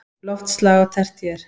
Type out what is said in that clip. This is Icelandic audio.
Loftslag á tertíer